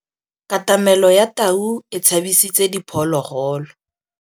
Katamêlô ya tau e tshabisitse diphôlôgôlô.